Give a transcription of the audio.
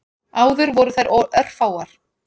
Áður voru þær örfáar.